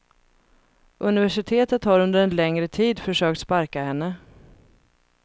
Universitetet har under en längre tid försökt sparka henne.